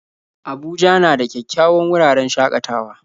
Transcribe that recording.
Abuja na da kyawawan wuraren shakatawa